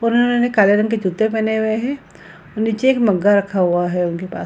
काले रंग के जूते पहेने हुए हैं और निचे एक मग्गा रखा हुआ है उनके पास।